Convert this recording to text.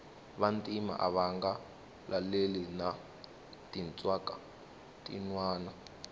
vantima ava nga laleli na tinxaka tinwana